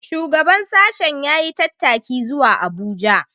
Shugaban sashen ya yi tattaki zuwa Abuja